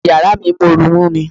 Fíríjì yàrá mi ń mọ́ru mú mi.